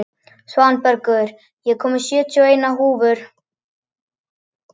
Svanbergur, ég kom með sjötíu og eina húfur!